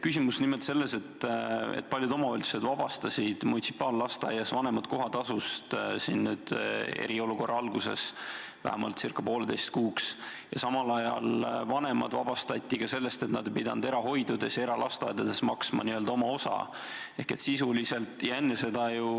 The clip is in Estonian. Küsimus on nimelt selles, et paljud omavalitsused vabastasid munitsipaallasteaias käivate laste vanemad kohatasust eriolukorra alguses vähemalt poolteiseks kuuks ning samal ajal vabastati vanemad ka erahoidudes ja eralasteaedades n-ö oma osa maksmisest.